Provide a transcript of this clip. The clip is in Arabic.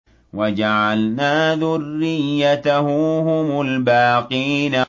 وَجَعَلْنَا ذُرِّيَّتَهُ هُمُ الْبَاقِينَ